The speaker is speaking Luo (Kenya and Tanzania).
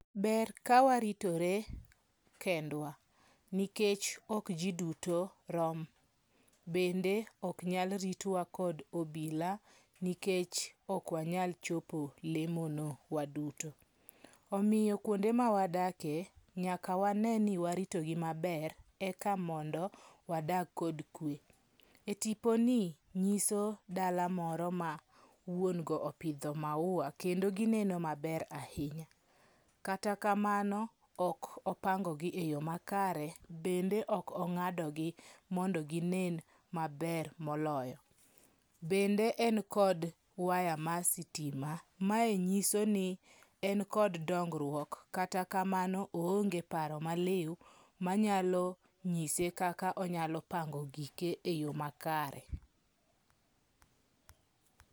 Ber ka waritore kendwa, nikech ok ji duto rom. Bende ok nyal ritwa kod obila nikech ok wanyal chopo lemono waduto. Omiyo kuonde mawadakie nyaka wane ni waritogi maber eka mondo wadag kod kwe. Etiponi nyiso dala moro ma wuon go opidho maua kendo gineno maber ahinya, kata kamano ok opangogi e yo makare bende ok ong'adogi mondo ginen maber moloyo. Bende en kod waya ma sitima, mae nyiso ni en kod dongruok, kata kamano oonge paro maliw manyalo nyise kaka onyalo pango gike e yo makare.